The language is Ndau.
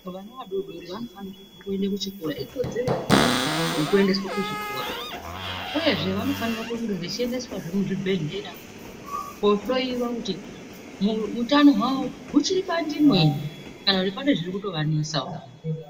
Vana vadodori vanofanirwa kuenda kuchikora ikodzero yawo yekuendeswa kuzvikora uyezve vanofanira kunge vachiendeswa zvemuzvibhedhlera kohloiwa kuti hutano hwavo huchiri panzvimbo here kana kuti pane zviri kuvanetsawo.